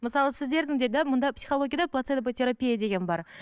мысалы сіздердің де да мұнда психологияда терапия деген бар